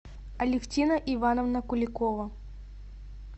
алевтина ивановна куликова